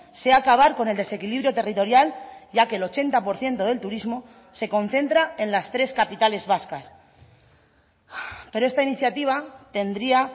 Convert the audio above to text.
sea acabar con el desequilibrio territorial ya que el ochenta por ciento del turismo se concentra en las tres capitales vascas pero esta iniciativa tendría